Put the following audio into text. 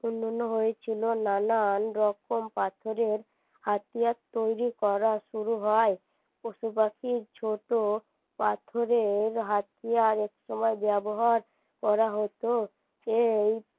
উন্নন হয়েছিল নানান রকম পাথরের হাতিয়ার তৈরী করা শুরু হয় পশুপাখির ছোটো পাথরের হাতিয়ার একসময় ব্যবহার করা হতো সেই